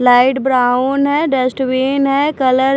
light brown है dustbin है colour --